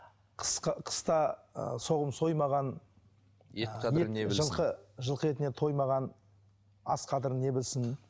қыста ы соғым соймаған жылқы жылқы етіне тоймаған ас қадірін не білсін